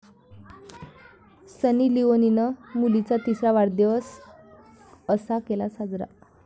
सनी लिओनीनं मुलीचा तिसरा वाढदिवस असा केला साजरा